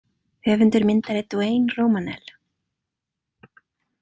Höfundur myndar er Duane Romanell.